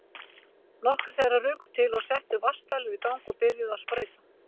Nokkrir þeirra ruku til og settu vatnsdælur í gang og byrjuðu að sprauta.